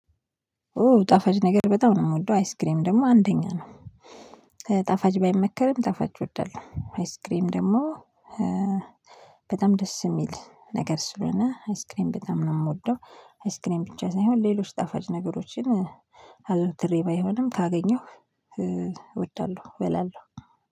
ኦ ጣፋጭ ነገር በጣም ነው የምወደው አይስክሬም ደግሞ አንደኛ ነው። ጣፋጭ ባይመከርም ጣፋጭ እወዳለሁ አይስክሬም ደግሞ በጣም ደስ የሚል ነገር ስለሆነ አይስክሬም በጣም ነው የምወደው። አይስክሬም ብቻ ሳይሆን ሌሎች ጣፋጭ ነገሮችን አዘውትሬ ባይሆንም ካገኘሁ እወያለሁ